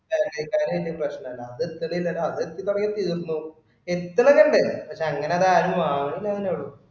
Bakery ക്കാര് വലിയ പ്രശ്നമില്ല. അത് നിർത്തി അത് നീ പറയുകയും ചെയ്തിരുന്നു. എത്രകണ്ട്? പക്ഷെ അങ്ങനെ അതാരും വാങ്ങാണില്ലാന്നെ ഉള്ളു.